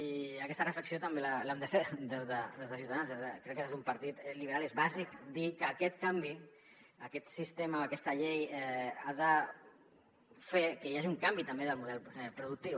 i aquesta reflexió també l’hem de fer des de ciutadans crec que des d’un partit liberal és bàsic dir que aquest canvi aquest sistema aquesta llei ha de fer que hi hagi un canvi també del model productiu